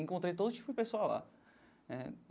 Encontrei todo tipo de pessoal lá né.